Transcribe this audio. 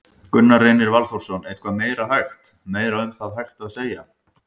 Gunnar Reynir Valþórsson: Eitthvað meira hægt, meira um það hægt að segja?